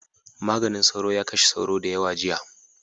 maganin sauro ya kashe sauro dayawa jiya